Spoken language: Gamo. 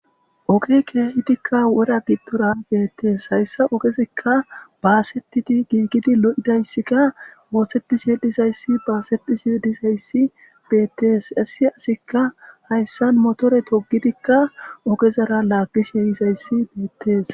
Oge kehidikka wora gidora beetes. Hayssa ogezikka bassetidi gigidi lo'idayssikka ooththetishe dizaysi basetishe dizaysi beetes. Asikka hayssan motore togidikka ogezara lagishe yizayssi beetes.